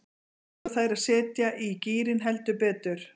Nú þurfa þær að setja í gírinn, heldur betur.